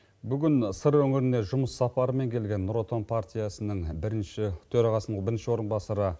бүгін сыр өңіріне жұмыс сапарымен келген нұр отан партиясының бірінші төрағасының бірінші орынбасары